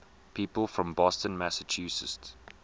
people from boston massachusetts